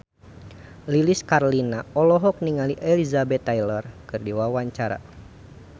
Lilis Karlina olohok ningali Elizabeth Taylor keur diwawancara